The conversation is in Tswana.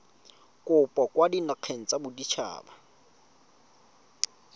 kopo kwa dinageng tsa baditshaba